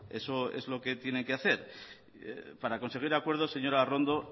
eso es lo que tiene que hacer para conseguir acuerdos señora arrondo